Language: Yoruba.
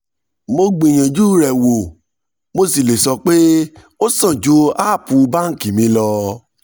mo gbìyànjú rẹ̀ wò mo sì lè sọ pé ó sàn ju app báńkì mi lọ.